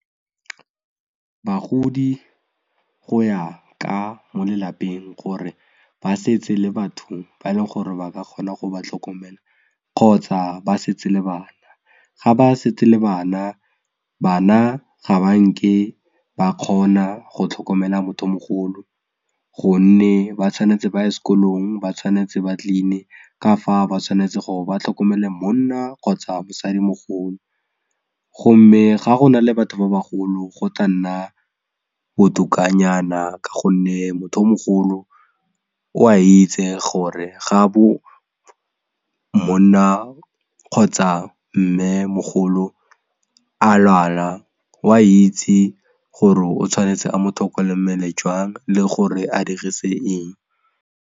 Bagodi go ya ka mo lelapeng gore ba setse le batho ba e leng gore ba ka kgona go ba tlhokomela kgotsa ba setse le bana, ga ba setse le bana bana ga ba nke ba kgona go tlhokomela motho o mogolo gonne ba tshwanetse ba ye sekolong ba tshwanetse ba clean-e ka fa ba tshwanetse gore ba tlhokomele monna kgotsa mosadimogolo gomme ga go na le batho ba bagolo go tla nna botokanyana ka gonne motho o mogolo o a itse gore ga bo monna kgotsa mmemogolo a lwala o a itse gore o tshwanetse a motlhokomele jang le gore a dirise eng.